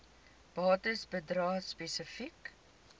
bates bedrae spesifiek